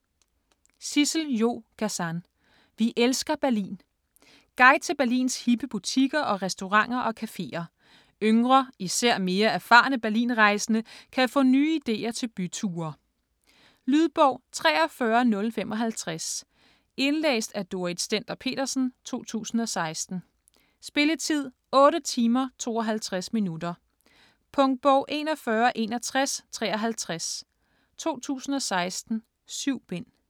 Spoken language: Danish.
Gazan, Sissel-Jo: Vi elsker Berlin Guide til Berlins hippe butikker og restauranter og cafeer. Yngre, især mere erfarne Berlinrejsende kan få nye ideer til byture. Lydbog 43055 Indlæst af Dorrit Stender-Petersen, 2016. Spilletid: 8 timer, 52 minutter. Punktbog 416153 2016. 7 bind.